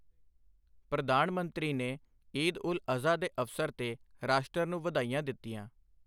ਪ੍ਰਧਾਨ ਮੰਤਰੀ ਨੇ ਈਦ ਉਲ ਅਜ਼ਹਾ ਦੇ ਅਵਸਰ ਤੇ ਰਾਸ਼ਟਰ ਨੂੰ ਵਧਾਈਆਂ ਦਿੱਤੀਆਂ